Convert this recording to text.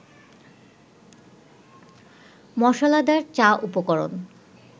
মসলাদার চা উপকরণ